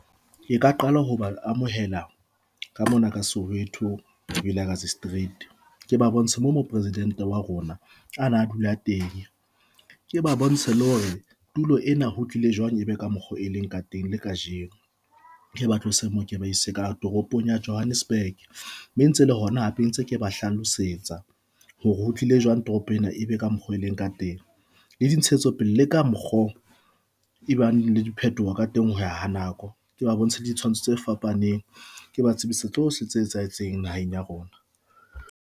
Ke ka qala ho ba amohela ka mona ka Soweto Vilakazi Street ke ba bontsha moo mo presidente wa rona ana a dula teng, ke ba bontshe le hore tulo ena ho tlile jwang ebe ka mokgo e leng ka teng le kajeno ke ba tlose mo, ke ba ise ka toropong ya Johannesburg, mme e ntse le hona hape ntse ke ba hlalosetsa hore ho tlile jwang toropo ena e be ka mokgo e leng ka teng le dintshetso pele leka mokgo e bang le diphetoho ka teng ho ya ha nako ke ba bontshe ditshwantsho tse fapaneng, ke ba tsebise tsohle tse etsahetseng naheng ya rona.